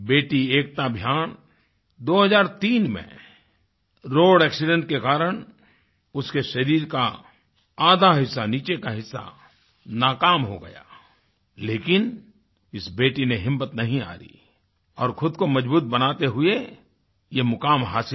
बेटी एकता भयान 2003 में रोड एक्सीडेंट के कारण उसके शरीर का आधा हिस्सा नीचे का हिस्सा नाकाम हो गया लेकिन इस बेटी ने हिम्मत नही हारी और खुद को मजबूत बनाते हुए ये मुकाम हासिल किया